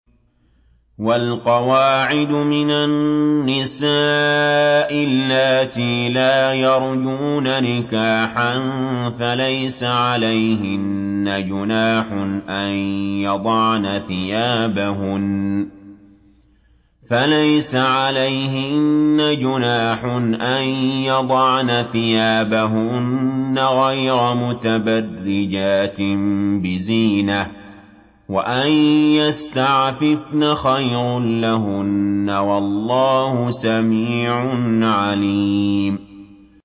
وَالْقَوَاعِدُ مِنَ النِّسَاءِ اللَّاتِي لَا يَرْجُونَ نِكَاحًا فَلَيْسَ عَلَيْهِنَّ جُنَاحٌ أَن يَضَعْنَ ثِيَابَهُنَّ غَيْرَ مُتَبَرِّجَاتٍ بِزِينَةٍ ۖ وَأَن يَسْتَعْفِفْنَ خَيْرٌ لَّهُنَّ ۗ وَاللَّهُ سَمِيعٌ عَلِيمٌ